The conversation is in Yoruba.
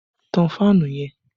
Tán fáànù yẹn!